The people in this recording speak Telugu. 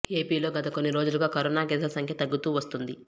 ఏపీలో గత కొన్ని రోజులుగా కరోనా కేసుల సంఖ్య తగ్గుతూ వస్తోంది